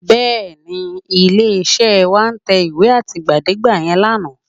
Bẹ́ẹ̀ni, ilé-iṣẹ́ wa tẹ ìwé àtìgbàdégbà yẹn lánàá?